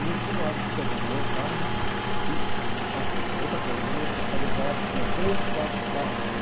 E eu tinha o hábito de pegar a e... Ah, outra coisa, eu alugava, tinha três, quatro carros de...